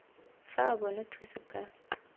fa a bona thuso ka